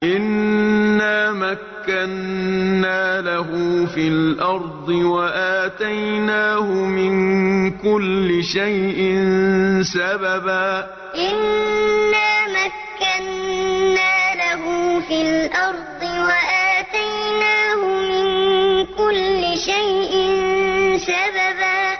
إِنَّا مَكَّنَّا لَهُ فِي الْأَرْضِ وَآتَيْنَاهُ مِن كُلِّ شَيْءٍ سَبَبًا إِنَّا مَكَّنَّا لَهُ فِي الْأَرْضِ وَآتَيْنَاهُ مِن كُلِّ شَيْءٍ سَبَبًا